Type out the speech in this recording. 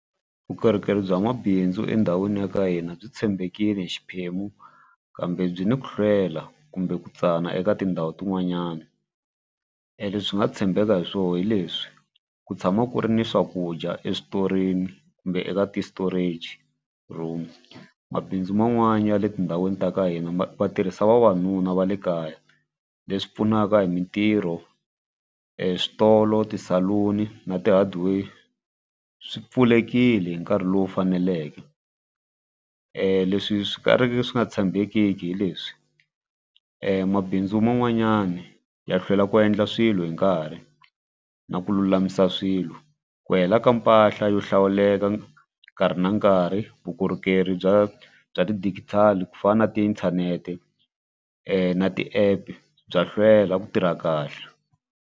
Vukorhokeri bya nwabindzu endhawini ya ka hina byi tshembekile hi xiphemu kambe byi ni ku hlwela kumbe ku tsana eka tindhawu tin'wanyana. E leswi nga tshembeka hi swona hi leswi ku tshama ku ri ni swakudya eswitorini kumbe eka ti-storage room mabindzu man'wani ya le tindhawini ta ka hina va tirhisa vavanuna va le kaya leswi pfunaka hi mitirho eswitolo ti saluni na ti hardware swi pfulekile hi nkarhi lowu faneleke. Leswi swi ka riki swi nga tshembekiki hi leswi mabindzu man'wanyani ya hlwela ku endla swilo hi nkarhi na ku lulamisa swilo ku hela ka mpahla yo hlawuleka nkarhi na nkarhi vukorhokeri bya bya ti-digital ku fana na tiinthanete na ti-app bya hlwela ku tirha kahle.